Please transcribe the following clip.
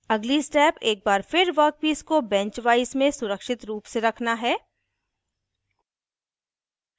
अगली स्टेप एक बार फिर वर्कपीस को बेंच वाइस में सुरक्षित रूप से रखना है